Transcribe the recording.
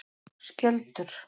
Skjöldur